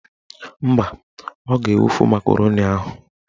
Mba, ọ ga-ewufu makaroni ahụ